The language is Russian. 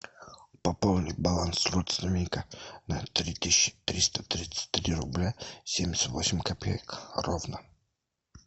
пополнить баланс родственника на три тысячи триста тридцать три рубля семьдесят восемь копеек ровно